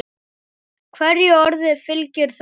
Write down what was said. Hverju orði fylgir þögn.